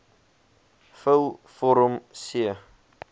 vul vorm c